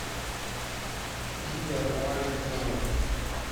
видео про маленьких слонов